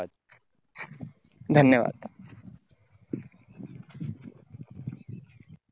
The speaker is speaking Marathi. धन्यवाद